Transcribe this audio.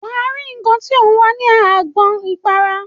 Wà á rí nnkan tí ò ń wá ní agbọn ìpara.